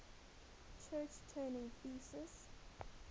church turing thesis